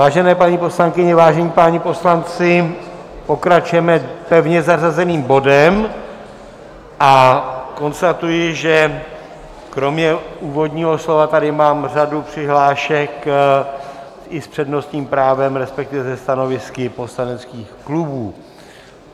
Vážené paní poslankyně, vážení páni poslanci, pokračujeme pevně zařazeným bodem a konstatuji, že kromě úvodního slova tady mám řadu přihlášek i s přednostním právem, respektive se stanovisky poslaneckých klubů.